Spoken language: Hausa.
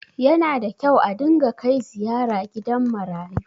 yana da kyau a dinga Kai ziyara gidan marayu